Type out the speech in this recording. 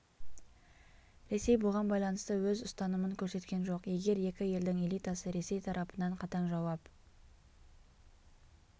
ресей бұған байланысты өз ұстанымын көрсеткен жоқ егер екі елдің элитасы ресей тарапынан қатаң жауап